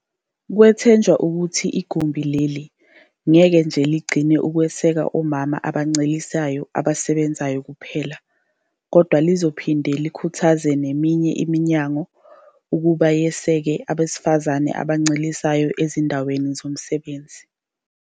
Kwethenjwa ukuthi igumbi leli ngeke nje ligcine ngokweseka omama abancelisayo abasebenzayo kuphela, kodwa lizophinde likhuthaze neminye iminyango ukuba yeseke abesifazane abancelisayo ezindaweni zomsebenzi.